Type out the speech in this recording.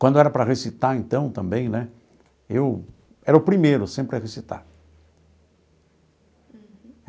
Quando era para recitar então também né, eu era o primeiro sempre a recitar. Uhum.